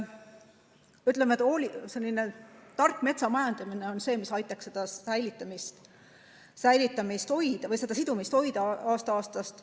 Ütleme, et selline tark metsa majandamine on see, mis aitaks seda sidumist hoida aasta-aastalt.